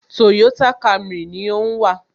Toyota Camry ni ó ń wà